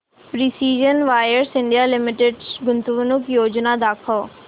precision wires India limited गुंतवणूक योजना दाखव